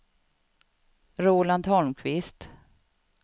Roland Holmqvist